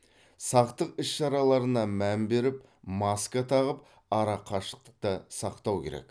сақтық іс шараларына мән беріп маска тағып арақашықты сақтау керек